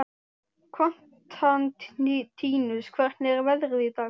Konstantínus, hvernig er veðrið í dag?